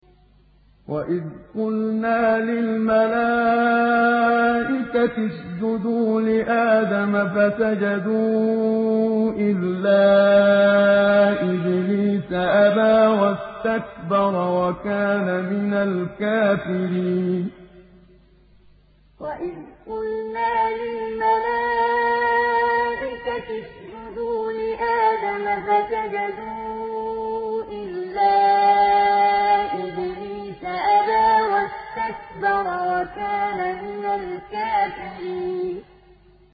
وَإِذْ قُلْنَا لِلْمَلَائِكَةِ اسْجُدُوا لِآدَمَ فَسَجَدُوا إِلَّا إِبْلِيسَ أَبَىٰ وَاسْتَكْبَرَ وَكَانَ مِنَ الْكَافِرِينَ وَإِذْ قُلْنَا لِلْمَلَائِكَةِ اسْجُدُوا لِآدَمَ فَسَجَدُوا إِلَّا إِبْلِيسَ أَبَىٰ وَاسْتَكْبَرَ وَكَانَ مِنَ الْكَافِرِينَ